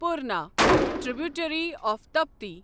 Purna tributary of Tapti